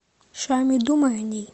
шами думаю о ней